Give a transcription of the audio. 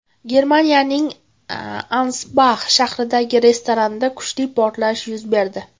Germaniyaning Ansbax shahridagi restoranda kuchli portlash yuz berdi.